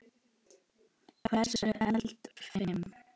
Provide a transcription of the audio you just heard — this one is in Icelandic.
Hversu eldfim?